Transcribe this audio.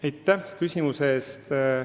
Aitäh küsimuse eest!